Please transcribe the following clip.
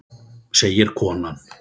segir konan.